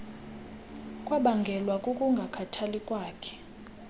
kwabangelwa kukungakhathali kwakhe